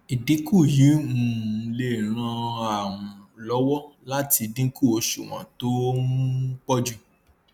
ìdínkù yìí um lè ràn um lówó láti dínkù òṣùwòn tó um pọ jù